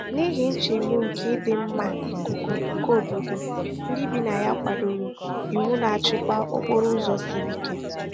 N'ihi nchegbu nke ịdị mma ikuku nke obodo, ndị bi na ya kwadoro iwu na-achịkwa okporo ụzọ sịrị ike.